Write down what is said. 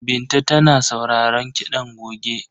Binta tana sauraron kiɗan goge.